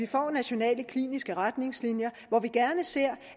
få nationale kliniske retningslinjer hvor vi gerne ser